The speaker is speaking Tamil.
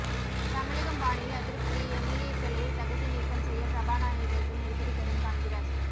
தமிழகம் பாணியில் அதிருப்தி எம்எல்ஏக்களை தகுதி நீக்கம் செய்ய சபாநாயகருக்கு நெருக்கடி தரும் காங்கிரஸ்